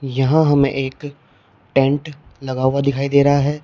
यहां हमें एक टेंट लगा हुआ दिखाई दे रहा है।